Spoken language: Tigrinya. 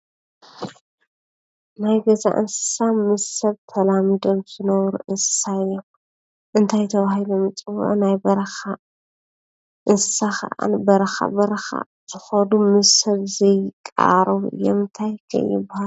ናይ ገዛ እንስስሳ ምስ ሰብ ተላሚዶም ዝነብሩ እንስሳ እዮም። እንታይ ተባሂሎም ይፅውዑን ? ናይ በረካ እንስሳ ከዓ በረካ በረካ ዝከዱ ምስ ሰብ ዘይቃራረቡ እዮም። እንታይ ከ ይበሃሉ?